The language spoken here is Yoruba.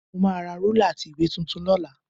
Mo máa ra rúlà àti ìwé tuntun lọ́la